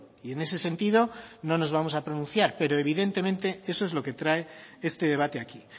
y en ese sentido no nos vamos a pronunciar pero evidentemente eso es lo que trae este debate aquí